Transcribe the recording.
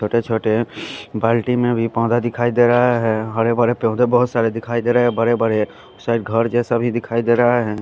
छोटे छोटे बाल्टी में भी पोधा दिखाई दे रहा है हरे भरे पोधे बोहोत सारे दिखाई देरे है बड़े बड़े शायद घर जेसा भी दिखाई देरा है।